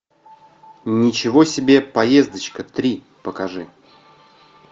ничего себе поездочка три покажи